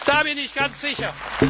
Da bin ich ganz sicher.